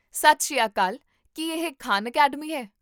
ਸਤਿ ਸ੍ਰੀ ਅਕਾਲ, ਕੀ ਇਹ ਖਾਨ ਅਕੈਡਮੀ ਹੈ?